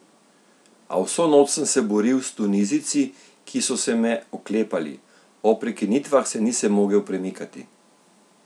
A vso noč sem se boril s Tunizijci, ki so se me oklepali, ob prekinitvah se nisem mogel premikati.